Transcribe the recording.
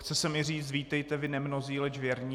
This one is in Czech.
Chce se mi říct: Vítejte vy nemnozí, leč věrní.